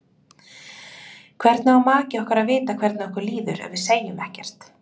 Hvernig á maki okkar að vita hvernig okkur líður ef við segjum ekkert?